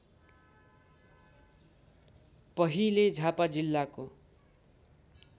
पहिले झापा जिल्लाको